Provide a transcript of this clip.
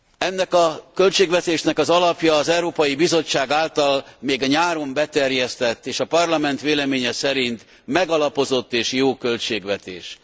Ennek a költségvetésnek az alapja az Európai Bizottság által még a nyáron beterjesztett, és a Parlament véleménye szerint megalapozott és jó költségvetés.